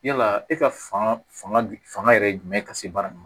Yala e ka fanga fanga yɛrɛ jumɛn ka se baara ma